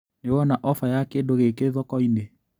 Nĩwona ofa ya kĩndũ gĩkĩ thokoinĩ?